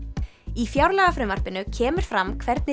í fjárlagafrumvarpinu kemur fram hvernig